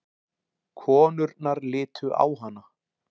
Konurnar litu á hana.